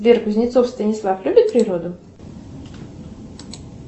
сбер кузнецов станислав любит природу